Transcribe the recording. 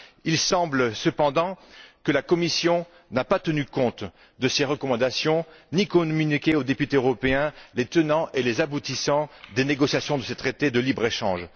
Il semble cependant que la Commission n'ait pas tenu compte de ces recommandations, ni communiqué aux députés européens les tenants et les aboutissants des négociations de ce traité de libre échange.